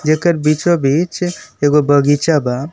येकर बीचों बीच एक गो बगीचा बा।